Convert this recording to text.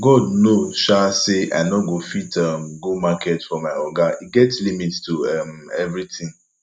god know um say i no go fit um go market for my oga e get limit to um everything